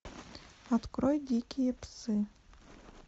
открой дикие псы